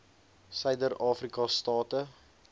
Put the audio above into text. suider afrika state